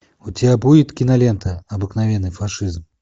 у тебя будет кинолента обыкновенный фашизм